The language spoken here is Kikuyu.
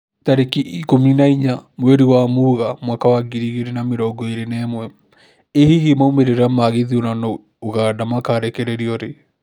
Tarĩki ikũmi na inya mweri wa Mũgaa mwaka wa ngiri igĩri na mĩrongo ĩri na ĩmwe, ĩ hihi maumĩrĩra ma gĩthurano Uganda makarekererio rĩ?